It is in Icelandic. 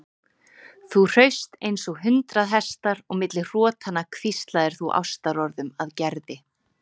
Þú hraust eins og hundrað hestar og milli hrotanna hvíslaðir þú ástarorðum að Gerði.